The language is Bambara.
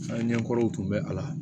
An ɲɛkɔrɔw tun bɛ a la